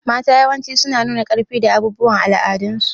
Mata yawanci suna nuna ƙarfi da abubuwan al'adun su.